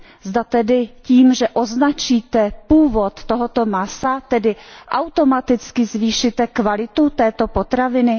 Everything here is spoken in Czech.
Zda tedy tím, že označíte původ tohoto masa, automaticky zvýšíte kvalitu této potraviny.